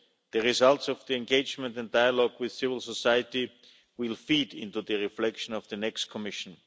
The results of the engagement and dialogue with civil society will feed into the reflection of the next Commission.